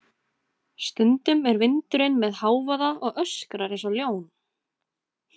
Stundum er vindurinn með hávaða og öskrar eins og ljón.